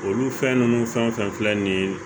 Olu fɛn nunnu fɛn o fɛn filɛ nin ye